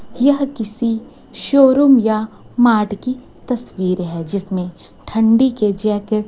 यह किसी शोरूम या मार्ट की तस्वीर है जिसमें ठंडी के जैकेट --